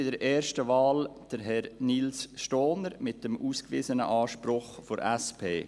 bei der ersten Wahl Herrn Nils Stohner mit dem ausgewiesenen Anspruch der SP.